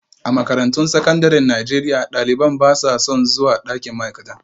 A makarantun sakandaren Najeriya, ɗalibai ba sa son zuwa ɗakin ma'aikata